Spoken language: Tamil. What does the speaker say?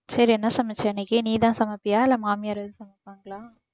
சரி என்ன சமைச்ச இன்னிக்கு நீதான் சமைப்பியா இல்லை மாமியார் எதுவும் சமைப்பாங்களா